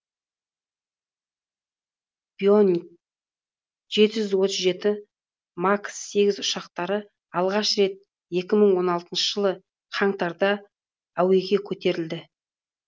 боинг жеті жүз отыз жеті макс сегіз ұшақтары алғаш рет екі мың он алтыншы жылы қаңтарда әуеге көтерілді